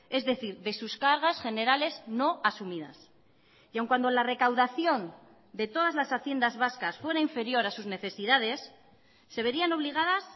es decir de sus cargas generales no asumidas y aun cuando la recaudación de todas las haciendas vascas fuera inferior a sus necesidades se verían obligadas